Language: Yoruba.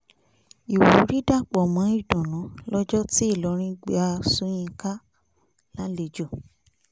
ìwúrí dàpọ̀ mọ́ ìdùnnú lọ́jọ́ tí ìlọrin gba sọ́yínkà lálejò